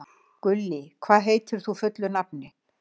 Gullý, hvað heitir þú fullu nafni?